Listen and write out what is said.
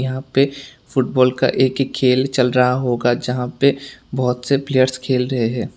यहां पे फुटबॉल का एक खेल चल रहा होगा जहां पे बहुत से प्लेयर्स खेल रहे है।